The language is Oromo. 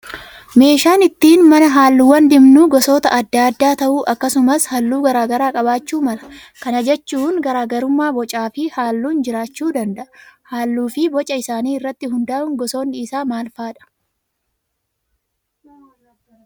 Meeshaan ittiin mana halluuwwan dibnu gosoota adda addaa ta'uu akkasumas halluu garaagaraa qabaachuu mala. Kana jechuun garaagarummaa bocaa fi halluun jiraachuu danda'a. Halluu fi boca isaanii irratti hundaa'uun gosoonni isaa maal fa'aadha?